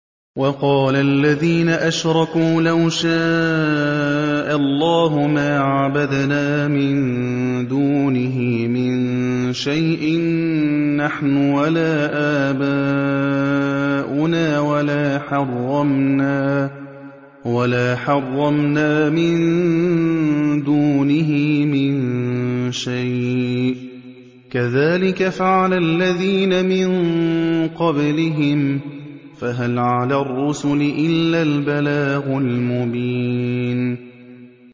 وَقَالَ الَّذِينَ أَشْرَكُوا لَوْ شَاءَ اللَّهُ مَا عَبَدْنَا مِن دُونِهِ مِن شَيْءٍ نَّحْنُ وَلَا آبَاؤُنَا وَلَا حَرَّمْنَا مِن دُونِهِ مِن شَيْءٍ ۚ كَذَٰلِكَ فَعَلَ الَّذِينَ مِن قَبْلِهِمْ ۚ فَهَلْ عَلَى الرُّسُلِ إِلَّا الْبَلَاغُ الْمُبِينُ